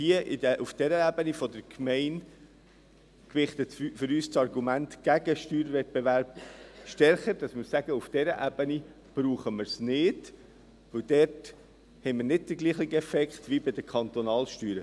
Aber auf dieser Ebene der Gemeinde gewichtet für uns das Argument gegen den Steuerwettbewerb stärker, sodass wir sagen, dass wir es auf dieser Ebene nicht brauchen, weil man dort nicht denselben Effekt hat wie bei den Kantonalsteuern.